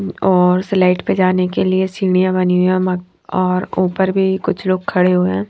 और स्लाइड पे जाने के लिए सीढ़ियां बनी हुई है और ऊपर भी कुछ लोग खड़े हुए हैं।